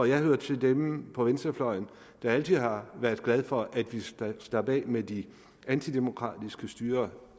jeg hører til dem på venstrefløjen der altid har været glad for at vi slap af med de antidemokratiske styrer